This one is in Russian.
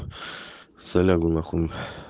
салягу нахуй